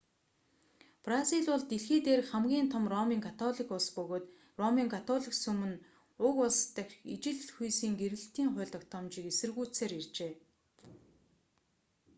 бразил бол дэлхий дээрх хамгийн том ромын католик улс бөгөөд ромын католик сүм нь уг улс дахь ижил хүйсийн гэрлэлтийн хууль тогтоомжийг эсэргүүцсээр иржээ